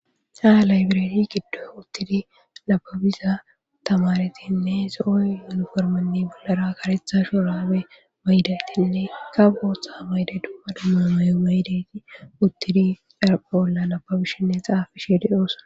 Ha library gidon utidi nababiza tamaretinne zo'o yuniformenne (uniform) bollara karetha shurabe mayidaytinne kaboxa mayid dumma dumma mayo mayidayt utid xaraphe bolla nababishenne xaafishe de'osona.